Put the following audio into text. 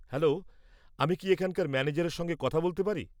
-Hello, আমি কি এখানকার ম্যানেজারের সঙ্গে কথা বলতে পারি?